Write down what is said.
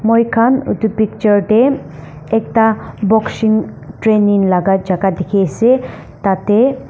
moi khan etu picture te ekta boxing training laga jaka dikhi ase tate.